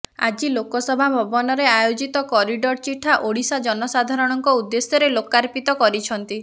ଆଜି ଲୋକସେବା ଭବନରେ ଆୟୋଜିତ କରିଡର ଚିଠା ଓଡ଼ିଶା ଜନସାଧାରଣଙ୍କ ଉଦ୍ଦେଶ୍ୟରେ ଲୋକାର୍ପିତ କରିଛନ୍ତି